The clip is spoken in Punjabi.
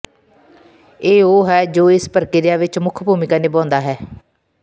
ਇਹ ਉਹ ਹੈ ਜੋ ਇਸ ਪ੍ਰਕ੍ਰਿਆ ਵਿੱਚ ਮੁੱਖ ਭੂਮਿਕਾ ਨਿਭਾਉਂਦਾ ਹੈ